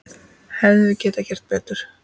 Hefðum við getað gert betur?